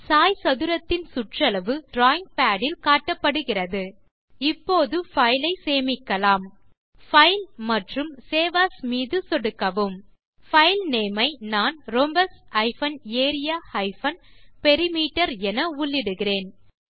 சாய்சதுரத்தின் சுற்றளவு இங்கே drawing pad இல் காட்டப்படுகிறது இப்போது பைல் ஐ சேமிக்கலாம் பைல் மற்றும் சேவ் ஏஎஸ் மீது சொடுக்கவும் பைல்நேம் ஐ நான் rhombus area பெரிமீட்டர் என உள்ளிடுகிறேன்